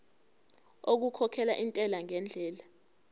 okukhokhela intela ngendlela